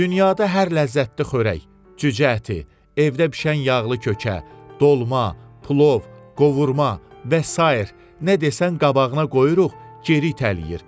Dünyada hər ləzzətli xörək, cücə əti, evdə bişən yağlı kökə, dolma, plov, qovurma və sair nə desən qabağına qoyuruq, geri itələyir.